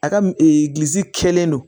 A ka m kɛlen don